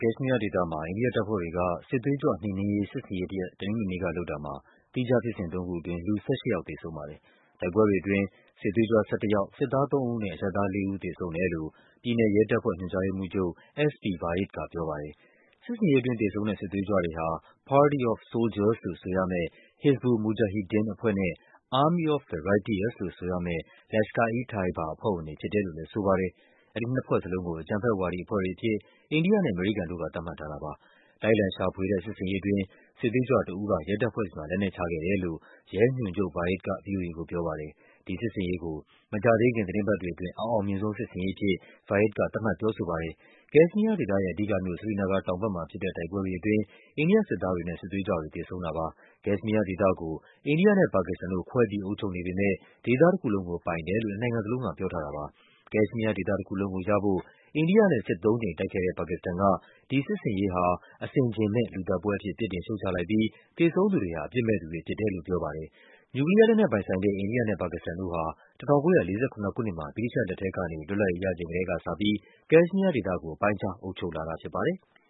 ကက်ရှ်မီးယားဒေသမှာ အိန္ဒိယတပ်ဖွဲ့တွေက စစ်သွေးကြွ နှိမ်နင်းရေး စစ်ဆင်ရေးတရပ် တနင်္ဂနွေနေ့က လုပ်တာမှာ သီးခြားဖြစ်စဉ်သုံးခုအတွင်း လူ ၁၈ ယောက် သေဆုံးပါတယ်။ တိုက်ပွဲတွေအတွင်း စစ်သွေးကြွ ၁၁ ယောက်၊ စစ်သား ၃ ဦးနဲ့ အရပ်သား လေးဦး သေဆုံးတယ်လို့ ပြည်နယ်ရဲတပ်ဖွဲ့ ညွှန်ကြား ရေးမှူးချုပ် S. P. Vaid ကပြောပါတယ်။ စစ်ဆင်ရေးအတွင်း သေဆုံးတဲ့ စစ်သွေးကြွတွေဟာ Party of Soldiers လို့ဆိုရမယ့် Hizbul Mujahideen အဖွဲ့နဲ့ Army of the Righteous လို့ဆိုရမယ့် Lashkar-e-Tayaba အဖွဲ့ဝင်တွေဖြစ်တယ်လို့လည်းဆိုပါတယ်။ အဲဒီနှစ်ဖွဲ့စလုံးကို အကြမ်းဖက်ဝါဒီအဖွဲ့ တွေအဖြစ် အိန္ဒိယနဲ့ အမေရိကန်တို့က သတ်မှတ်ထားတာပါ။ လိုက်လံရှာဖွေတဲ့ စစ်ဆင်ရေးအတွင်း စစ်သွေးကြွတဦးက ရဲတပ်ဖွဲ့မှာ လက်နက်ချခဲ့တယ်လို့ ရဲ ညွှန်ချုပ် Vaid က ဗွီအိုအေကို ပြောပါတယ်။ ဒီစစ်ဆင်ရေးကို “မကြာသေးခင် သီတင်းပတ်တွေအတွင်း အအောင်မြင်ဆုံး စစ်ဆင်ရေး” အဖြစ် Vaid က သတ်မှတ် ပြောဆိုပါတယ်။ ကက်ရှ်မီးယားဒေသရဲ့ အဓိကမြို့ Srinagar တောင်ဘက်မှာဖြစ်တဲ့ တိုက်ပွဲတွေအတွင်း အိန္ဒိယစစ်သားတွေနဲ့ စစ်သွေးကြွတွေ သေဆုံးတာပါ။ ကက်ရှ်မီးယားဒေသကို အိန္ဒိယနဲ့ ပါကစ္စတန်တို့ ခွဲပြီး အုပ်ချုပ်နေပေမဲ့ ဒေသတခုလုံးကို ပိုင်တယ်လို့ နှစ်နိုင်ငံလုံး က ပြောထားတာပါ။ ကက်ရှ်မီးယားဒေသတခုလုံးကိုရဖို့ အိန္ဒိယနဲ့ စစ်သုံးကြိမ်တိုက်ခဲ့တဲ့ ပါကစ္စတန်က ဒီစစ်ဆင်ရေးဟာ “အဆင် ခြင်မဲ့ လူသတ်ပွဲ” အဖြစ် ပြစ်တင် ရှုတ်ချလိုက်ပြီး သေဆုံးသူတွေဟာ အပြစ်မဲ့သူတွေဖြစ်တယ်လို့ ပြောပါတယ်။ နျူကလီးယားလက်နက်ပိုင်ဆိုင်တဲ့ အိန္ဒိယနဲ့ ပါကစ္စတန်တို့ဟာ ၁၉၄၇ ခုနှစ်မှာ ဗြိတိသျှလက်ထဲကနေ လွတ်လပ်ရေးရချိန် ကတည်းကစပြီး ကက်ရှ်မီးယားဒေသကို ပိုင်းခြား အုပ်ချုပ်လာတာဖြစ်ပါတယ်။